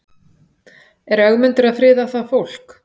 Er Ögmundur að friða það fólk?